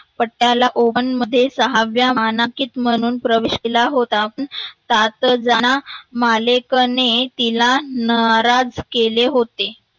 Patiala open मध्ये सहाव्या मानांकित म्हणून प्रवेश केला होता. साथजना मालेकने तिला नराज केले होते.